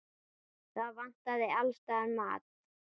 Það vantaði alls staðar mat.